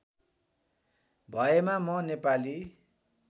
भएमा म नेपाली